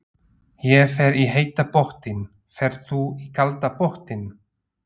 Ég fer í heita pottinn. Ferð þú í kalda pottinn?